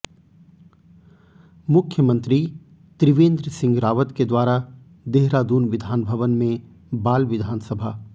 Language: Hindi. मुख्यमंत्री त्रिवेंद्र सिंह रावत के द्वारा देहरादून विधानभवन में बाल विधानसभा